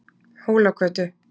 Hólagötu